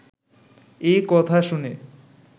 এ কথা শুনে